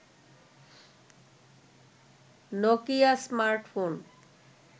Nokia smartphone